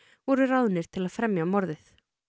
voru ráðnir til að fremja morðið